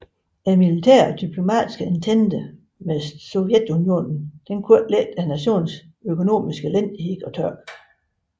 Den militære og diplomatiske entente med Sovjetunionen kunne ikke lette nationens økonomiske elendighed og tørke